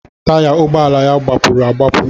Taya ụgbọala ya gbapuru agbapụ